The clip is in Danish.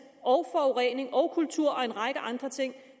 forurening kultur og en række andre ting